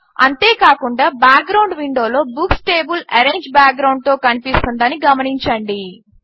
అంతే కాకుండా బ్యాక్గ్రౌండ్ విండోలో బుక్స్ టేబుల్ ఆరెంజ్ బ్యాక్గ్రౌండ్తో కనిపిస్తుందని గమనించండి